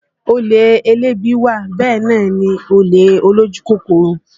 Olè elébi wà bẹ́ẹ̀ náà ni olè olójú kòkòrò